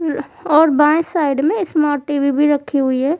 और बाएं साइड में स्मार्ट टी_वी भी रखी हुई है।